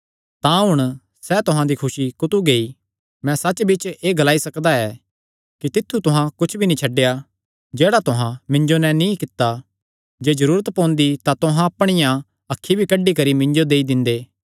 तां हुण सैह़ तुहां दी खुसी कुत्थू गेई मैं सच्चबिच्च एह़ ग्लाई सकदा ऐ कि तित्थु तुहां कुच्छ भी नीं छड्डेया जेह्ड़ा तुहां मिन्जो नैं नीं कित्ता जे जरूरत पोंदी तां तुहां अपणिया अखीं भी कड्डी करी मिन्जो देई दिंदे